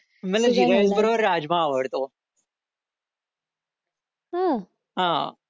मला जीरा राईस बरोबर राजमा आवडतो हा